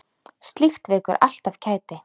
Slíkt vekur alltaf kæti.